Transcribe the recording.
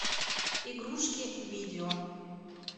игрушки видео